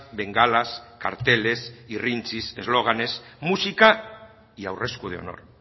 bengalas carteles irrintzis eslóganes música y aurresku de honor